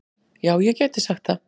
Já, ég gæti sagt það.